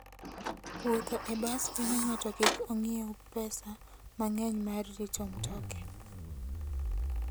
Wuotho e bas konyo ng'ato kik ong'iew pesa mang'eny mar rito mtoke.